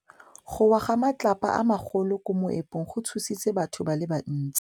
Go wa ga matlapa a magolo ko moepong go tshositse batho ba le bantsi.